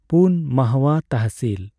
ᱯᱩᱱ . ᱢᱟᱦᱣᱟ ᱛᱟᱦᱥᱤᱞ